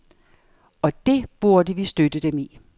Og det burde vi støtte dem i.